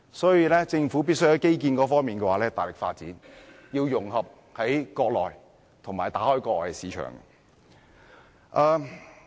所以，政府必須大力發展基建，要融合國內市場和打開國外市場。